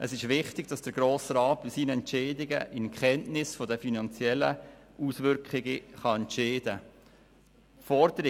Es ist wichtig, dass der Grosse Rat in Kenntnis der finanziellen Auswirkungen eines Geschäfts entscheiden kann.